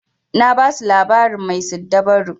Na basu labarin mai siddabaru.